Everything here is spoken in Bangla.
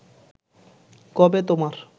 কবে তোমার